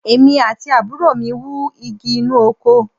Èmi àti àbúrò mi wú igi inú oko